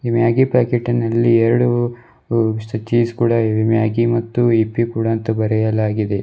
Maggi ಪ್ಯಾಕೆಟಿನಲ್ಲಿ ಎರೆಡು ಹೂ ಚೀಸ್ಕೂಡ ಇವೆ ಮ್ಯಾಗಿ ಮತ್ತು ಹಿಪ್ಪಿ ಅಂತ ಬರೆಯಲಾಗಿದೆ.